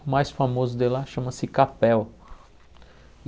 O mais famoso de lá chama-se Capel.